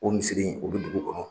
O misiri in, o bi dugu kɔnɔ.